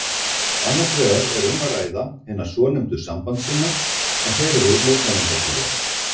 Annars vegar er um að ræða hina svonefndu sambandssinna en þeir eru mótmælendatrúar.